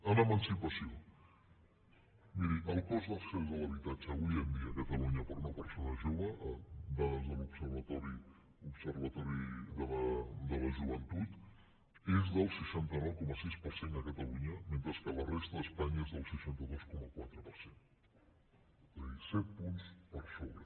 en emancipació miri el cost d’accés a l’habitatge avui en dia a catalunya per a una persona jove dades de l’observatori de la joventut és del seixanta nou coma sis per cent a catalunya mentre que a la resta d’espanya és del seixanta dos coma quatre per cent és a dir set punts per sobre